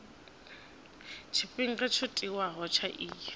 tshifhinga tsho tiwaho tsha iyi